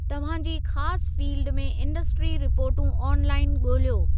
तव्हां जी ख़ासि फ़ील्डि में इंडस्ट्री रिपोर्टूं ऑन लाइअन ॻोल्हियो।